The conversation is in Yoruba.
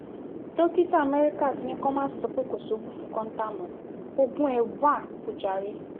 dókítà amẹ́ríkà ti ní kí wọ́n má sọ pé kò sóògùn fún kóńtà mọ́ oògùn ẹ̀ wá o jàre